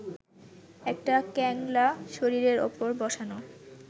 একটা ক্যাংলা শরীরের ওপর বসানো